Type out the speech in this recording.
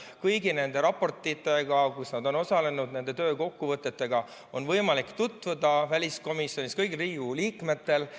Kõigi nende raportitega, kus nad on osalenud, ja nende töö kokkuvõtetega on kõigil Riigikogu liikmetel võimalik tutvuda väliskomisjonis.